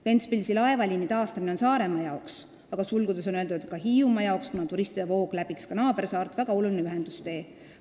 Ventspilsi laevaliini taastamine on Saaremaa jaoks väga oluline ühendustee.